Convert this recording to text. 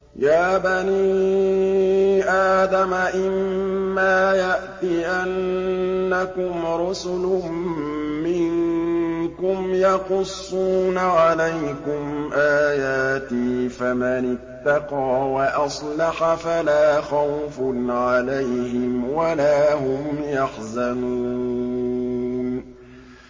يَا بَنِي آدَمَ إِمَّا يَأْتِيَنَّكُمْ رُسُلٌ مِّنكُمْ يَقُصُّونَ عَلَيْكُمْ آيَاتِي ۙ فَمَنِ اتَّقَىٰ وَأَصْلَحَ فَلَا خَوْفٌ عَلَيْهِمْ وَلَا هُمْ يَحْزَنُونَ